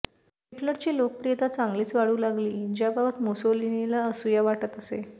हिटलरची लोकप्रियता चांगलीच वाढू लागली ज्याबाबत मुसोलिनीला असूया वाटत असे